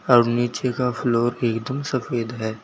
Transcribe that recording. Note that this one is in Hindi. और नीचे का फ्लोर एक दम सफेद है।